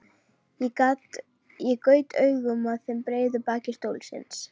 Ég gaut augum að breiðu baki stólsins.